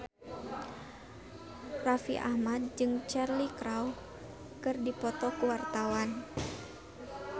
Raffi Ahmad jeung Cheryl Crow keur dipoto ku wartawan